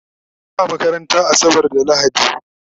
Ba makaranta asabar da lahadi